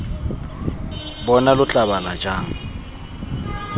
bona lo tla bala jang